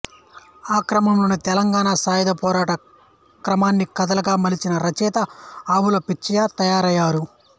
ఆ క్రమంలోనే తెలంగాణ సాయుధ పోరాట క్రమాన్ని కథలుగా మలిచిన రచయిత ఆవుల పిచ్చయ్య తయారయ్యారు